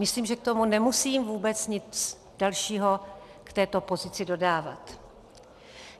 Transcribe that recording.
Myslím, že k tomu nemusím vůbec nic dalšího, k této pozici, dodávat.